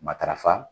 Matarafa